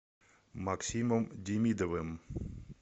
максимом демидовым